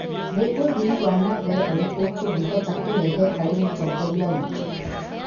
Nĩ ũthii wa na mbere ũrĩkũ tũngĩhota kũrehe harĩ mũtongoria witũ?